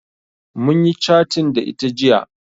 Munyi catin da ita jiya